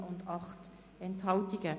Abstimmung (Art. 56 Abs. 2; Antrag